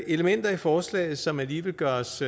elementer i forslaget som alligevel gør os